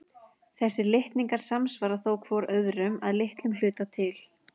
Þessir litningar samsvara þó hvor öðrum að litlum hluta til.